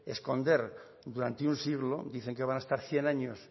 esconder durante un siglo dicen que van a estar cien años